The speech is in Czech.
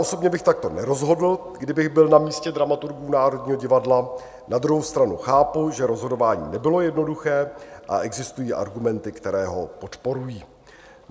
Osobně bych takto nerozhodl, kdybych byl na místě dramaturgů Národního divadla, na druhou stranu chápu, že rozhodování nebylo jednoduché, a existují argumenty, které ho podporují.